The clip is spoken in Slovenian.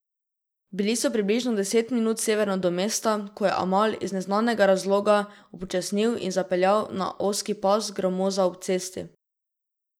Bili so približno deset minut severno do mesta, ko je Amal iz neznanega razloga upočasnil in zapeljal na ozki pas gramoza ob cesti.